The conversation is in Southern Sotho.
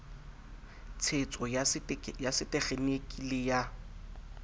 tshetso ya setekgeniki le ya